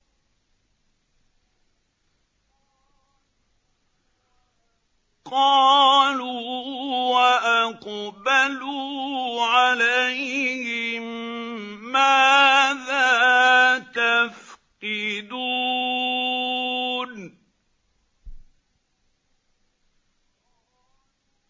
قَالُوا وَأَقْبَلُوا عَلَيْهِم مَّاذَا تَفْقِدُونَ